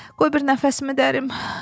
Qoy bir nəfəsimi dərim.